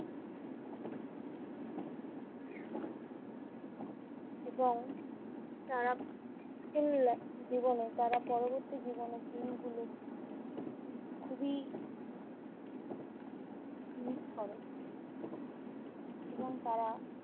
এবং তারা full life ~ জীবনে~ তারা পরবর্তী জীবনের দিনগুলো খুবই miss করে এবং তারা